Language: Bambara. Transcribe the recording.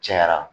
Cayara